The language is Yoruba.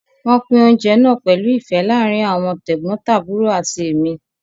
Wọ́n pín oúnjẹ náà pẹ̀lú ìfẹ́ láàárín àwọn tẹ̀gbọ́ntàbúrò àti èmi